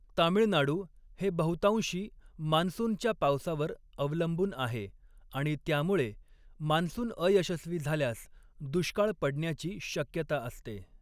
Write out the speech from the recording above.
तामिळनाडू हे बहुतांशी मान्सूनच्या पावसावर अवलंबून आहे आणि त्यामुळे मान्सून अयशस्वी झाल्यास दुष्काळ पडण्याची शक्यता असते.